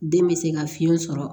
Den bɛ se ka fiɲɛ sɔrɔ